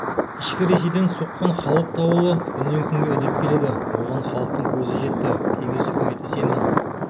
ішкі ресейден соққан халық дауылы күннен күнге үдеп келеді оған халықтың көзі жетті кеңес үкіметі сенің